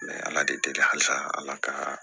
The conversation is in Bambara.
Mɛ ala de deli halisa ala ka